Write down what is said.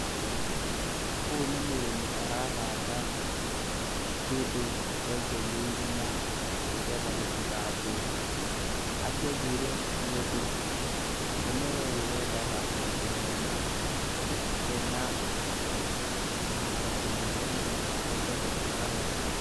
Ũyũ nĩ mũrĩmi arahanda kĩndũ enjeire irima, nĩ getha gĩtigathũke. Akĩenjeire nĩ ũndũ mũmera ũyũ wendaga handũ hena kĩhaaro kĩnene nĩ getha ĩhote gũkũra wega.